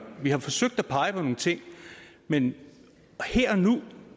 vi har forsøgt at pege på nogle ting men her og nu